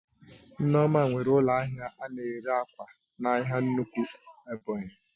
Nneoma nwere ụlọ ahịa ana ere ákwà n'ahia nnukwu Ebonyi